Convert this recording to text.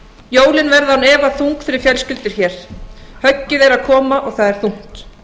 jólin verða án efa þung fyrir fjölskyldur hér höggið er að koma og það er þungt